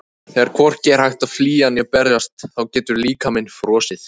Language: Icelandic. Þegar hvorki er hægt að flýja né berjast þá getur líkaminn frosið.